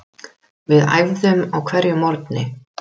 Við æfðum á hverjum morgni.